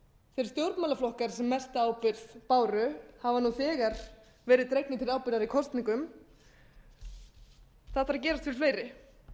þeir stjórnmálaflokkar sem mesta ábyrgð báru hafa nú þegar verið dregnir til ábyrgðar í kosningum það þarf að gerast við fleiri